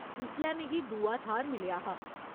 उसलै मिगी दूआ थाह्‌र मिलेआ हा।